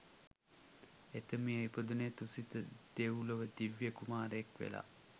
එතුමිය ඉපදුනේ තුසිත දෙව්ලොව දිව්‍ය කුමාරයෙක් වෙලා